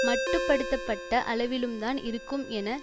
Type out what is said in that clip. மட்டு படுத்த பட்ட அளவிலும் தான் இருக்கும் என